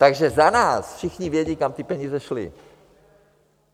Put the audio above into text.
Takže za nás všichni vědí, kam ty peníze šly.